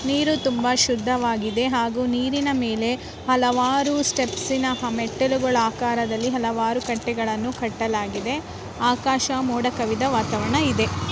ನೀರು ತುಂಬಾ ಶುದ್ಧವಾಗಿದೆ ಹಾಗು ನೀರಿನ ಮೇಲೆ ಹಲವಾರು ಸ್ಟೆಪ್ಸಿನ ಮೆಟ್ಟಿಲುಗಳ ಆಕಾರದಲ್ಲಿ ಹಲವಾರು ಕಟ್ಟೆಗಳನ್ನ ಕಟ್ಟಲಾಗಿದೆ ಆಕಾಶ ಮೋಡ ಕವಿದ ವಾತಾವರಣ ಇದೆ.